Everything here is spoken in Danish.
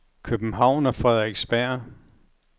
København og Frederiksberg